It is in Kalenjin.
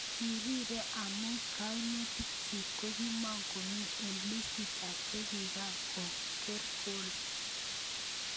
Kirire amu kainutik chik kokimokomin eng' listit ab chikikakoker gol.